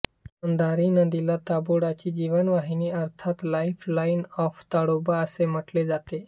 अंधारी नदीला ताडोबाची जीवनवाहिनी अर्थातच लाईफ लाईन ऑफ ताडोबा असे म्हटले जाते